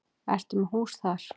Ertu með hús þar?